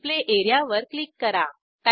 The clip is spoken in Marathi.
डिस्प्ले एरियावर क्लिक करा